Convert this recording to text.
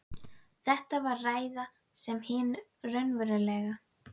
Þetta var ræða sem hin raunverulega